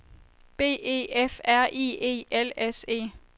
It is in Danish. B E F R I E L S E